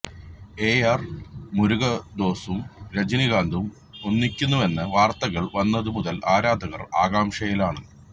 A R മുരുഗദോസും രജനികാന്തും ഒന്നിക്കുന്നുവെന്ന വാര്ത്തകള് വന്നതു മുതല് ആരാധകര് ആകാംക്ഷയിലാണ്